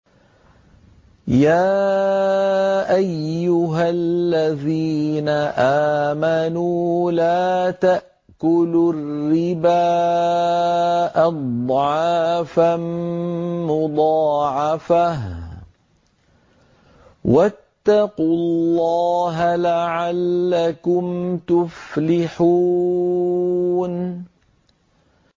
يَا أَيُّهَا الَّذِينَ آمَنُوا لَا تَأْكُلُوا الرِّبَا أَضْعَافًا مُّضَاعَفَةً ۖ وَاتَّقُوا اللَّهَ لَعَلَّكُمْ تُفْلِحُونَ